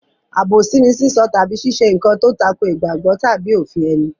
Àbòsí ni sísọ tàbí ṣíṣe nǹkan tó tako ìgbàgbọ́ tàbí òfin ẹni.